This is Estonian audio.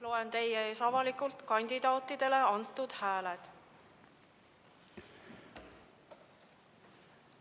Loen teie ees avalikult kandidaatidele antud hääled.